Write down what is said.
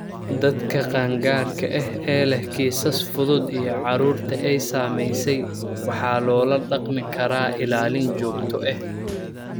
Dadka qaangaarka ah ee leh kiisas fudud iyo carruurta ay saameysay waxaa loola dhaqmi karaa ilaalin joogto ah.